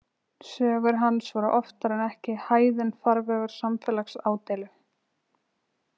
Sögur hans voru oftar en ekki hæðinn farvegur samfélagsádeilu.